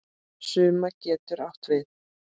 Summa getur átt við